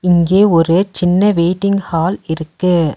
இங்கே ஒரு சின்ன வெயிட்டிங் ஹால் இருக்கு.